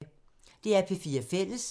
DR P4 Fælles